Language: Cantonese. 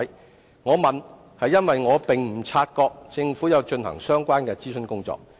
我提出這問題，是因為我並無察覺政府有進行相關的諮詢工作。